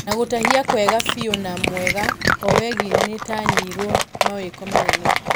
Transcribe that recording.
Na gũtahia kwega biũ na ....mwega , owegi nĩtanyĩirwo mawĩko manneno.